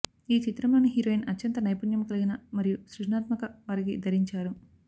ఈ చిత్రంలోని హీరోయిన్ అత్యంత నైపుణ్యం కలిగిన మరియు సృజనాత్మక వారికి ధరించారు